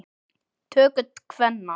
töku kvenna.